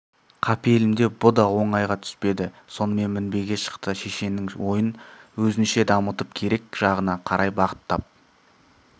қапелімде бұ да оңайға түспеді сонымен мінбеге шықты шешеннің ойын өзінше дамытып керек жағына қарай бағыттап